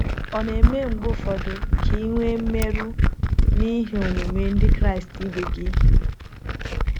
Ọ̀ na - eme mgbe ụfọdụ ka i nwee mmerụ n’ihi omume ndị Kraịst ibe gị?